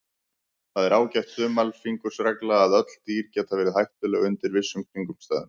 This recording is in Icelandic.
Það er ágæt þumalfingursregla að öll dýr geta verið hættuleg undir vissum kringumstæðum.